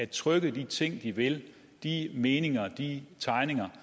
trykke de ting de vil de meninger de tegninger